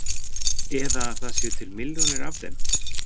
Eða að það séu til milljónir af þeim?